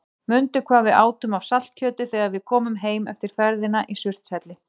Mundu hvað við átum af saltkjöti þegar við komum heim eftir ferðina í Surtshelli.